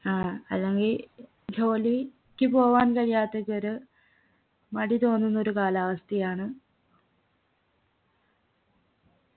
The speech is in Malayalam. ഏർ അല്ലെങ്കി ജോലി ക്ക് പോവാൻ കഴിയാത്തവര് മടി തോന്നുന്ന ഒരു കാലാവസ്ഥയാണ്